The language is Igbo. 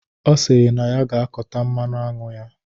Ọ sịrị na ya ga-akọta mmanụ aṅụ ya.